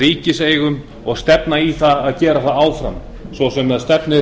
ríkiseigum og stefna í að gera það áfram svo sem stefnir